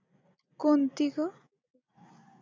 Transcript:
कोणती गं?